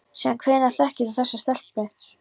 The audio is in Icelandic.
Síðan hvenær þekkir þú þessa stelpu?